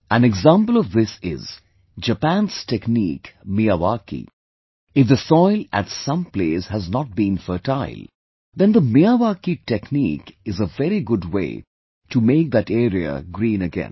An example of this is Japan's technique Miyawaki; if the soil at some place has not been fertile, then the Miyawaki technique is a very good way to make that area green again